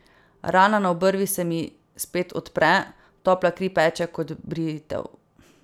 Rana na obrvi se mi spet odpre, topla kri peče kot britev.